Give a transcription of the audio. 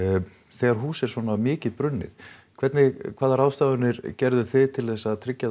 þegar hús er svona mikið brunnið hvernig hvaða ráðstafanir gerðuð þið til þess að tryggja